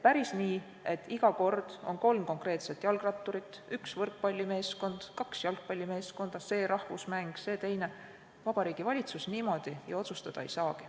Päris nii, et iga kord on arutatakse kolme jalgratturi, ühe võrkpallimeeskonna ja kahe jalgpallimeeskonna küsimust, Vabariigi Valitsus ju otsustada ei saa.